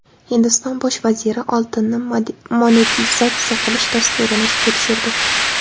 Hindiston bosh vaziri oltinni monetizatsiya qilish dasturini ishga tushirdi.